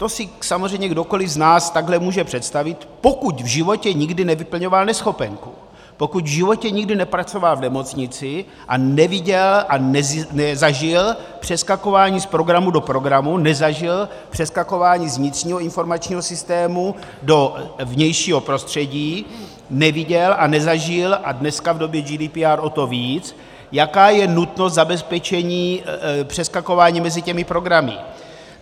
To si samozřejmě kdokoliv z nás takhle může představit, pokud v životě nikdy nevyplňoval neschopenku, pokud v životě nikdy nepracoval v nemocnici a neviděl a nezažil přeskakování z programu do programu, nezažil přeskakování z vnitřního informačního systému do vnějšího prostředí, neviděl a nezažil, a dneska v době GDPR o to víc, jaká je nutnost zabezpečení přeskakování mezi těmi programy.